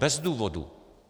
Bez důvodu.